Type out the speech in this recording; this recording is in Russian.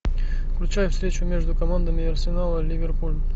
включай встречу между командами арсенал и ливерпуль